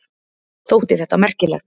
Þótti þetta merkilegt.